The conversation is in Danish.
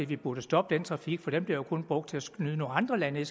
vi burde stoppe den trafik for den bliver kun brugt til at snyde nogle andre lande